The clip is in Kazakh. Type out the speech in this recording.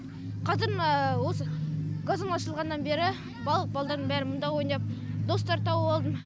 қазір мына осы газон ашылғаннан бері барлық балдардың бәрі мына ойнап достар тауып алдым